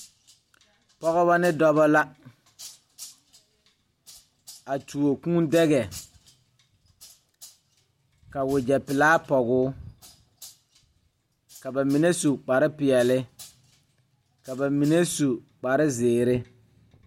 Pɔgebɔ ne dɔbɔ la a tuo kūū dɛgɛ ka wogyɛ pelaa pɔgoo ka ba mine su kparepeɛle ka ba mine su kparezeere.